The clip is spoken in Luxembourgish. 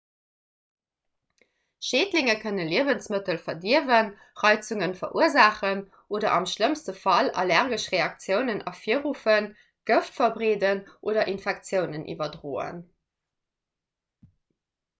schädlinge kënne liewensmëttel verdierwen reizunge verursaachen oder am schlëmmste fall allergesch reaktiounen ervirruffen gëft verbreeden oder infektiounen iwwerdroen